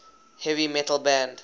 heavy metal band